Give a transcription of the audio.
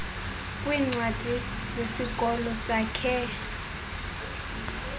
kwiincwadi zesikolo sakhe